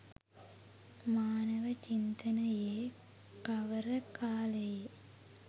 මානව චින්තනයේ කවර කාලයේ